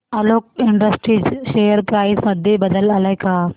Alok industries share price मध्ये बदल आलाय का